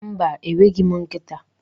Mba, enweghị m nkịta.